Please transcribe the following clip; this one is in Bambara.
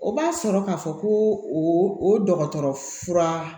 O b'a sɔrɔ k'a fɔ ko o dɔgɔtɔrɔ fura